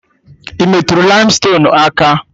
Ị metụrụ laimstonuu aka?